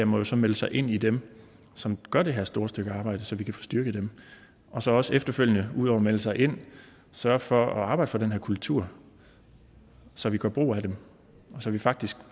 må så melde sig ind i dem som gør det her store stykke arbejde så vi kan få styrket dem og så også efterfølgende udover at melde sig ind sørge for at arbejde for den her kultur så vi gør brug af dem og så vi faktisk